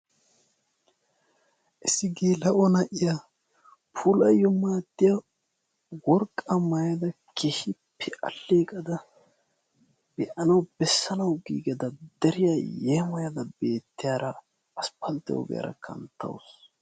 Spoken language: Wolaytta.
issi geela'o na'iyaa puulayyo maaddiyaa worqqaa maayada keehippe aleeqada be'anawu bessanawu giigada deriyaa yeemoyada beettiyaara asppalttiyaa ogiyaara kanttawus.